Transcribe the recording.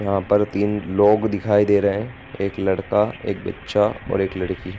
यहाँ पर तीन लोग दिखाई दे रहे हैं एक लड़का एक बच्चा और एक लड़की।